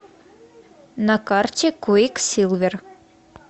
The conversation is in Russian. на карте квиксилвер